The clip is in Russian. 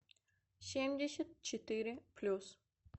семьдесят четыре плюс